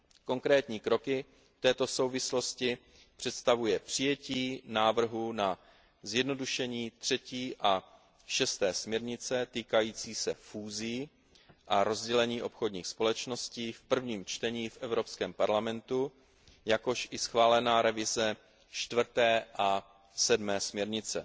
Konkrétní kroky v této souvislosti představuje přijetí návrhů na zjednodušení třetí a šesté směrnice týkající se fúzí a rozdělení obchodních společností v prvním čtení v Evropském parlamentu, jakož i schválená revize čtvrté a sedmé směrnice.